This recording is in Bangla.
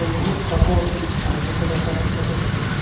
বহুত কাপড় তারিয়াতে রাখা দেখা যাচ্ছে।